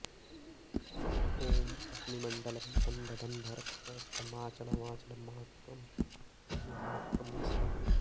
ॐ अग्निमण्डलं बन्ध बन्ध रक्ष रक्ष माचल माचल माक्रम्य माक्रम्य स्वाहा